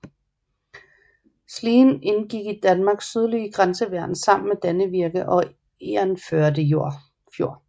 Slien indgik i Danmarks sydlige grænseværn sammen med Dannevirke og Egernførde Fjord